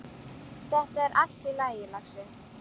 Þetta er allt í lagi, lagsi.